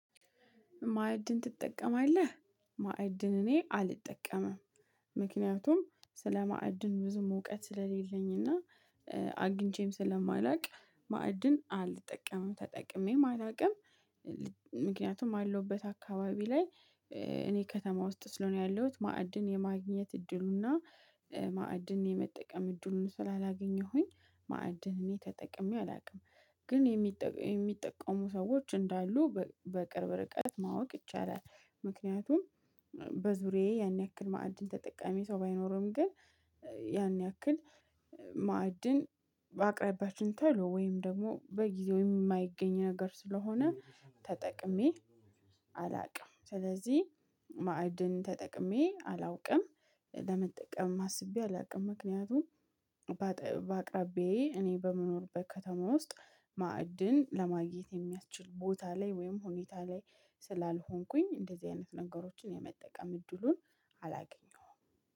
ማዕድን ትጠቀማለህ? ማዕድን እኔ አልጠቀምም ምክንያቱም ስለማዕድን ብዙ እውቀት ስለሌለኝ እና አግኝቼም ስለማላውቅ ማዕድን አልጠቀምም ተጠቅሜ አላቅም። ምክንያቱም አለውበት አካባቢ ላይ እኔ ከተማ ውስጥ ስለሆነ ያለሁት ማዕድን የማግኘት እድሉ እና ማዕድን የመጠቀም እድሉን ስላላገኘሁኝ ማዕድን እኔ ተጠቅሜ አላውቅም። ግን የሚጠቀሙ ሰዎች እንዳሉ በቅርብ ርቀት ማወቅ ይቻላል። ምክንያቱም በዙሪያዬ ያን ያክል ማዕድን ተጠቃሚ ሰው ባይኖርም ግን ያክል ማዕድን አቅራቢያችን ተሎ ወይም ደግሞ በጊዜው የማይገኝ ነገር ስለሆነ ተጠቅሜ አላውቅም። ስለዚህ ማዕድን ተጠቅሜ አላውቅም። ለመጠቀም ማስቤ አላውቅም ምክንያቱም በአቅራቢዬ እኔ በመኖርበት ከተማ ውስጥ ማዕድን ለማግኘት የሚያስችል ቦታ ላይ ወይም ሁኔታ ላይ ስላልሆንኩኝ እንደዚህ አይነት ነገሮችን የመጠቀም እድሉን አላገኘሁም